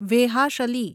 વેહાશલી